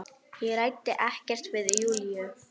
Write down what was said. Ég ræddi ekkert við Júlíu.